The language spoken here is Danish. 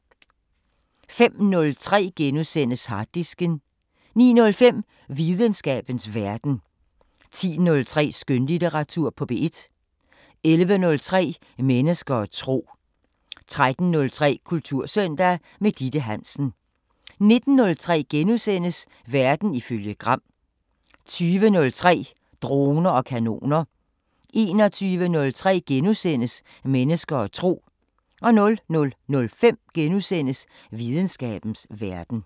05:03: Harddisken * 09:05: Videnskabens Verden 10:03: Skønlitteratur på P1 11:03: Mennesker og tro 13:03: Kultursøndag – med Ditte Hansen 19:03: Verden ifølge Gram * 20:03: Droner og kanoner 21:03: Mennesker og tro * 00:05: Videnskabens Verden *